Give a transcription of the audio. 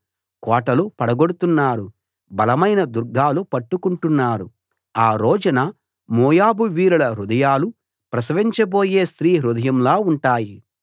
కోటలు పడగొడుతున్నారు బలమైన దుర్గాలు పట్టుకుంటున్నారు ఆ రోజున మోయాబు వీరుల హృదయాలు ప్రసవించబోయే స్త్రీ హృదయంలా ఉంటాయి